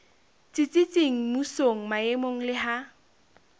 tsitsitseng mmusong maemong le ha